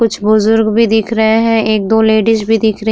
कुछ बुजुर्ग भी दिख रहे है एक दो लेडिस भी दिख रही --